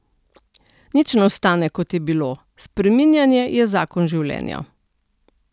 Nič ne ostane, kot je bilo, spreminjanje je zakon življenja.